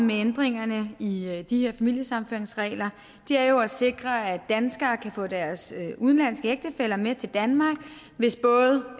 med ændringerne i i de her familiesammenføringsregler er jo at sikre at danskere kan få deres udenlandske ægtefæller med til danmark hvis både